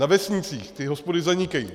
Na vesnicích ty hospody zanikají.